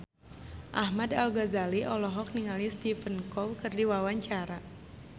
Ahmad Al-Ghazali olohok ningali Stephen Chow keur diwawancara